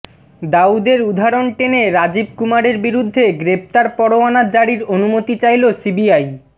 দাউদের উদাহরণ টেনে রাজীব কুমারের বিরুদ্ধে গ্রেফতার পরোয়ানা জারির অনুমতি চাইল সিবিআই